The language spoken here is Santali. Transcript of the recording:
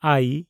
ᱟᱭ